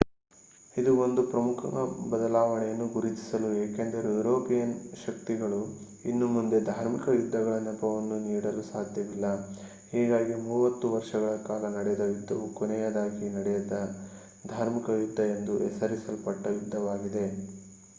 ಇದು ಒಂದು ಪ್ರಮುಖ ಬದಲಾವಣೆಯನ್ನು ಗುರುತಿಸಿತು ಏಕೆಂದರೆ ಯುರೋಪಿಯನ್ ಶಕ್ತಿಗಳು ಇನ್ನು ಮುಂದೆ ಧಾರ್ಮಿಕ ಯುದ್ಧಗಳ ನೆಪವನ್ನು ನೀಡಲು ಸಾಧ್ಯವಿಲ್ಲ ಹೀಗಾಗಿ ಮೂವತ್ತು ವರ್ಷಗಳ ಕಾಲ ನಡೆದ ಯುದ್ಧವು ಕೊನೆಯದಾಗಿ ನಡೆದ ಧಾರ್ಮಿಕ ಯುದ್ಧ ಎಂದು ಹೆಸರಿಸಲ್ಪಟ್ಟ ಯುದ್ಧವಾಗಿದೆ